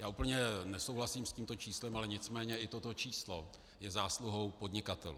Já úplně nesouhlasím s tímto číslem, ale nicméně i toto číslo je zásluhou podnikatelů.